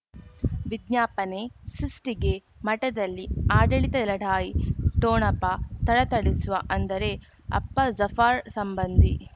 ವಿಜ್ಞಾಪನೆ ಸೃಷ್ಟಿಗೆ ಮಠದಲ್ಲಿ ಆಡಳಿತ ಲಢಾಯಿ ಠೊಣಪ ಥಳಥಳಿಸುವ ಅಂದರೆ ಅಪ್ಪ ಜಾಫರ್ ಸಂಬಂಧಿ